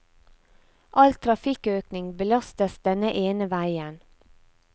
All trafikkøkning belastes denne ene veien.